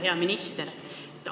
Hea minister!